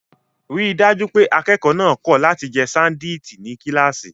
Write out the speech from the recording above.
Rí i dájú pé akẹ́kọ̀ọ́ náà kọ̀ láti jẹ ṣándíìtì ní kíláàsì.